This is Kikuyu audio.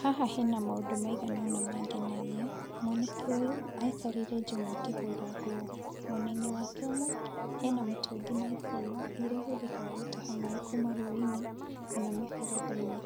Haha hena maũndũ maigana ũna mangenagia, mwanake ũyũ aikarĩire njũng'wa akĩhũra nguo, mwenaine wake ũmwe hena mĩtũngi na ibũyũ, iria ihũthĩkaga gũtaha maĩ kuuma rũĩ-inĩ kana mĩberethi-inĩ,